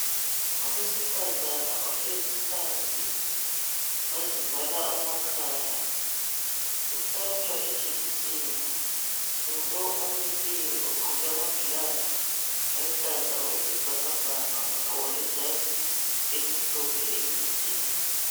Owesifazane ohlezi phansi, wazivala amakhala, uhlatshwa ijekiseni, ngulo omileyo ogqoke amagilavu aluhlaza okwesibhakabhaka, wagqoka lejazi elimhlophe elide